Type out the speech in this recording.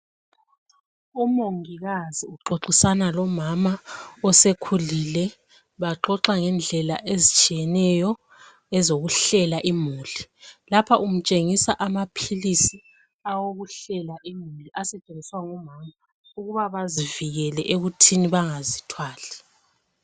Umongikazi uxoxisana lomama osekhulile, baxoxa ngendlela ezitshiyeneyo ezokuhlela imuli. Lapha umtshengisa amaphilisi awokuhlela imuli asetshenziswa ngomama ukuba bazivikile ekuthini bangazithwali.